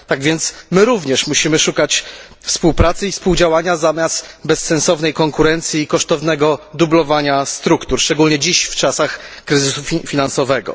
Tak więc my również musimy szukać współpracy i współdziałania zamiast bezsensownej konkurencji i kosztownego dublowania struktur, szczególnie dziś w czasach kryzysu finansowego.